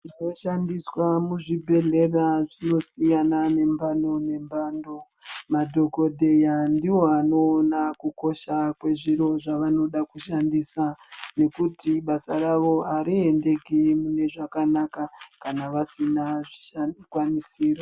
Zvinoshandiswa muzvibhedhlera zvinosiyana ngemphando nemphando. Madhokodheya ndiwo anoona kukosha kwezviro zvevanoda kushandisa. Ngekuti basa ravo ariendeki zvakanaka kana vasina zvikwanisiro.